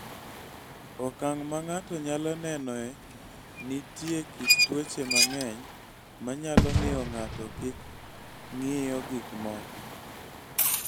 Okang� ma ng�ato nyalo nenoe Nitie kit tuoche mang�eny ma nyalo miyo ng�ato kik ng�iyo gik moko.